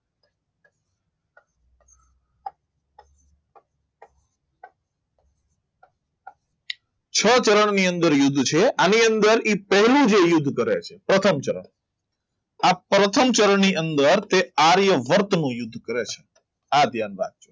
છ ચરણની અંદર યુદ્ધ છે આની અંદર એ પહેલું જે યુદ્ધ કરે છે પ્રથમ ચરણ આ પ્રથમ ચરણની અંદર તે આર્ય વર્તનુ યુદ્ધ કરે છે. આ ધ્યાન રાખજો